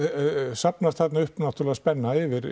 safnast þarna upp náttúrlega spenna yfir